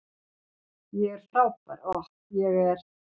Ég er frábær, Ohh, ég er